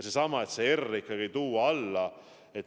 See R tuleb ikkagi alla tuua.